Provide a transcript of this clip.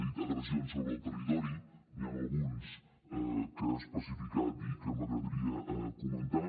ha dit agressions sobre el territori n’hi han alguns que ha especificat i que m’agradaria comentar